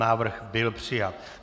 Návrh byl přijat.